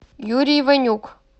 юрий иванюк